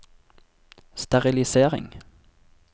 sterilisering